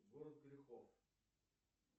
город грехов